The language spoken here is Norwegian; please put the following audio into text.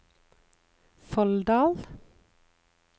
Folldal